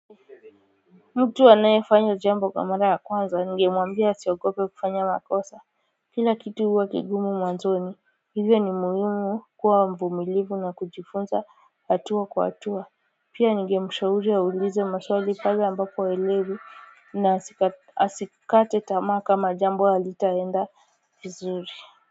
Mtu anayefanya jambo kwa mara ya kwanza ningemwambia asiogope kufanya makosa kila kitu huwa kigumu mwanzoni hivyo ni muhimu kuwa mvumilivu na kujifunza hatua kwa hatua pia ningemshauri aulize maswali pale ambapo haelewi na asikate tamaa kama jambo alitaenda vizuri.